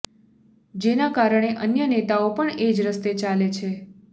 જેના કારણે અન્ય નેતાઓ પણ એજ રસ્તે ચાલે છે